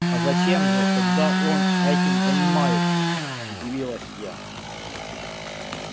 а зачем же тогда он этим занимается удивилась я